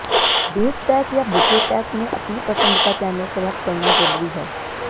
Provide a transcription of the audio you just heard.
base pack या bouquet pack में अपनी पसंद का चैनल सेलेक्ट करना ज़रूरी है